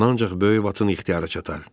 Bunu ancaq böyük vatın ixtiyara çatar.